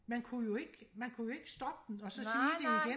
man kunne jo ikke man kunne jo ikke stoppe den og så sige det igen